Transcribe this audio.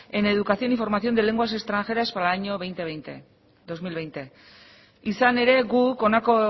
en educación y formación de lenguas extranjeras para e laño dos mil veinte izan ere guk honako